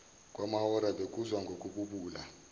kwamahora bekuzwa ngokububula